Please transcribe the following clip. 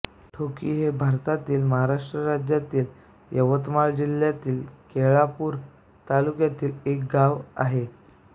ढोकी हे भारतातील महाराष्ट्र राज्यातील यवतमाळ जिल्ह्यातील केळापूर तालुक्यातील एक गाव आहे